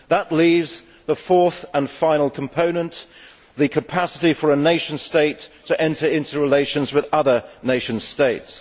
That leaves the fourth and final component the capacity for a nation state to enter into relations with other nation states.